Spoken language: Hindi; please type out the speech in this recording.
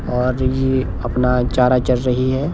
और ये अपना चारा चर रही है।